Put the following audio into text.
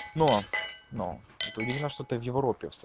но но это удивительно что ты в европе в с